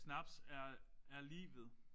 Snaps er er livet